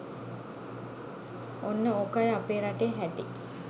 ඔන්න ඕ‍කයි අපේ රටේ හැටි